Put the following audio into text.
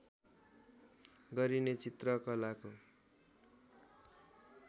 गरिने चित्रकलाको